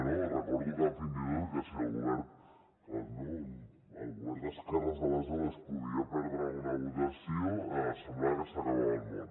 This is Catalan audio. no recordo fins i tot que si el govern d’esquerres d’aleshores podia perdre una votació semblava que s’acabava el món